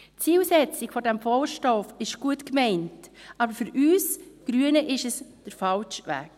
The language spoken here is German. Die Zielsetzung des Vorstosses ist gut gemeint, aber für uns Grüne ist es der falsche Weg